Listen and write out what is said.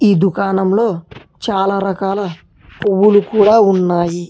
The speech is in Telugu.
ఈ దుకాణంలో చాలా రకాల పువ్వులు కూడా ఉన్నాయి.